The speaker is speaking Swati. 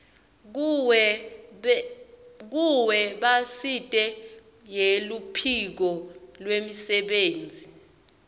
kuwebsite yeluphiko lwemisebenti